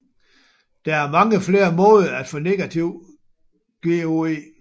Der er mange flere måder at få negativ GOE